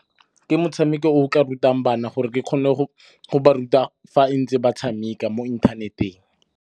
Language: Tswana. Ke motshameko o ka rutang bana gore ke kgone go ba ruta fa ntse ba tshameka mo inthaneteng.